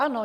Ano.